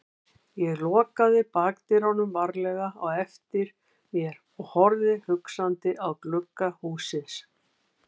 Ég lokaði bakdyrunum varlega á eftir mér og horfði hugsandi á glugga hússins.